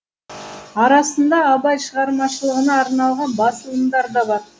арасында абай шығармашылығына арналған басылымдар да бар